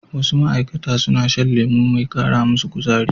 Wasu ma'aikata suna shan lemo mai kara musu kuzari.